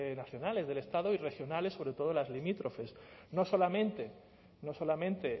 nacionales del estado y regionales sobre todo las limítrofes no solamente no solamente